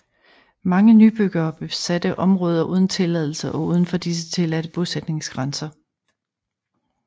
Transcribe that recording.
Mange nybyggere besatte områder uden tilladelse og udenfor disse tillade bosætningsgrænser